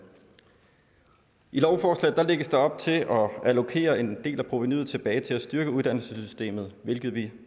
i lovforslaget lægges der op til at allokere en del af provenuet tilbage til at styrke uddannelsessystemet hvilket vi